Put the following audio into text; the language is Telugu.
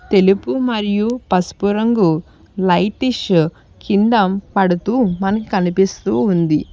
తెలుపు మరియు పసుపు రంగు లైటిష్ కింద పడుతూ మనకి కనిపిస్తూ ఉంది.